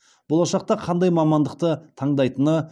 болашақта қандай мамандықты таңдайтыны